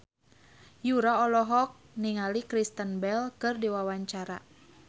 Yura olohok ningali Kristen Bell keur diwawancara